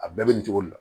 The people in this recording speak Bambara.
A bɛɛ bɛ nin cogo de la